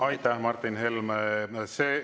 Aitäh, Martin Helme!